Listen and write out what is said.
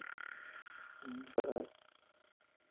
સરસ